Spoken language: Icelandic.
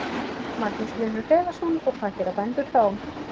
Magnús Hlynur Hreiðarsson: Og hvað gera bændur þá?